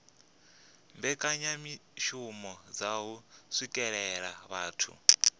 mbekanyamishumo dza u swikelela vhathu